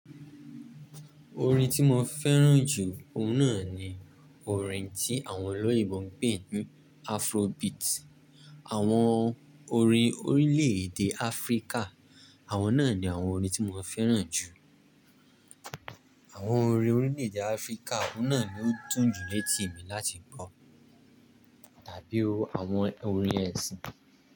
Orin tí mo fẹ́ràn jù, ọhún náà ni orin tí àwọn olóyinbo ń pè ní Afrobeat. Àwọn orin orílẹ̀ èdè Áfríkà, àwọn náà ni àwọn orin tí mo fẹ́ràn jù. Àwọn orin orílẹ̀ èdè Áfríkà, ọhún náà ni ó dún ju létí mi láti gbọ̀, tàbí o àwọn orin ẹ̀sìn.